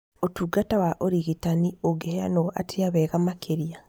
Ũtungata wa ũrigitani ũngĩheanwo atĩa wega makĩria?